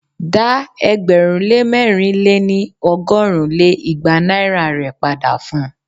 Dá ẹgbẹ̀rún lé mẹ̀rin lé ní- ọgọ́rùn lé igba naira rè padà fun!